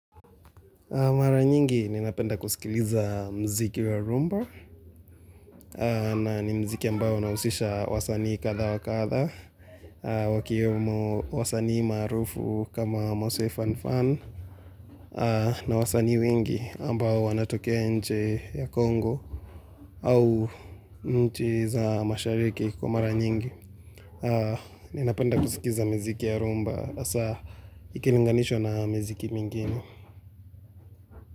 Mara nyingi ninapenda kusikiliza mziki ya rhumba na ni mziki ambao unahusisha wasanii kadha wa kadha, wakiyemo wasanii maarufu kama mose fun ffun, na wasani wengi ambayo wanatokea nche ya Kongo au mchi za mashariki kwa mara nyingi. Ninapenda kusikiza miziki ya rhumba, hasa ikilinganishwa na mziki mingine.